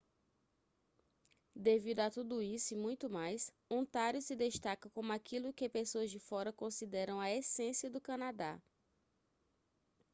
devido a tudo isso e muito mais ontário se destaca como aquilo que pessoas de fora consideram a essência do canadá